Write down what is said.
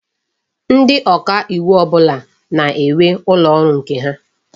Ndi oka iwu ọbụla na-enwe ụlọ ọrụ nke ha.